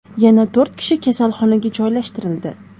Yana to‘rt kishi kasalxonaga joylashtirildi.